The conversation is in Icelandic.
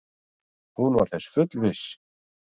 Hún var þess fullviss.